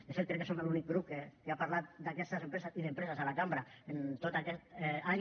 de fet crec que som l’únic grup que ha parlat d’aquestes empreses i d’empreses a la cambra en tot aquest any